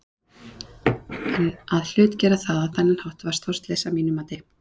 En að hlutgera það á þennan hátt var stórslys að mínu mati.